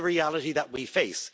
is the reality that we face.